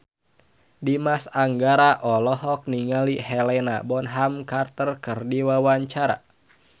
Dimas Anggara olohok ningali Helena Bonham Carter keur diwawancara